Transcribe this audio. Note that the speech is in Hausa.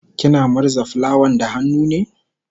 kina murza fulawan da hannu ne?